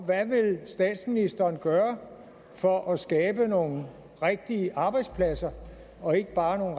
hvad vil statsministeren gøre for at skabe nogle rigtige arbejdspladser og ikke bare